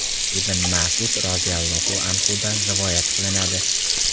Ibn Mas’ud roziyallohu anhudan rivoyat qilinadi.